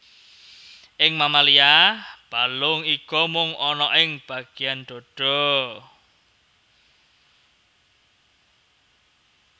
Ing mamalia balung iga mung ana ing bagéan dhadha